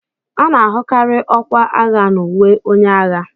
A na-ahụkarị ọkwa agha n'uwe onye agha